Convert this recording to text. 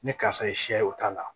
Ni karisa ye sɛ ye o t'a la